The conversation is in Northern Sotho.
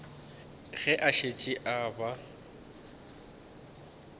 ge a šetše a ba